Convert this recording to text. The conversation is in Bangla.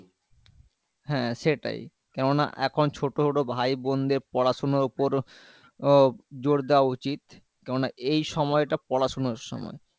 হ্যাঁ সেটাই কেনোনা এখন ছোট ছোট ভাই বোনদের পড়াশুনোর ওপর ও জোর দেওয়া উচিত কেনোনা এই সময়টা পড়াশুনোর সময়